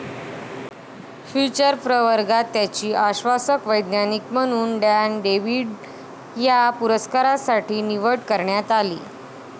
Future' प्रवर्गात त्यांची आश्वासक वैज्ञानिक म्हणून डॅन डेव्हिड या पुरस्कारासाठी निवड करण्यात आली.